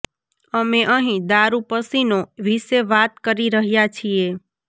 અમે અહીં દારૂ પસીનો વિશે વાત કરી રહ્યા છીએ